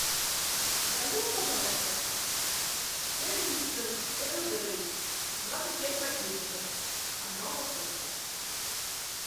закажи мне пожалуйста чай липтон эрл грей двадцать пять пакетиков одна упаковка